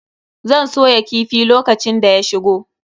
Zan soya kifi lokacin da ya shigo.